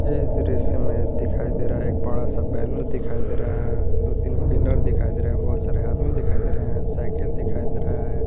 इस दृश्य में दिखाई दे रहा है एक बड़ा सा बैनर दिखाई दे रहा है दो तीन पिलर दिखाई दे रहा है बहोत सारे आदमी दिखाई दे रहे हैं साइकिल दिखाई दे रहा है।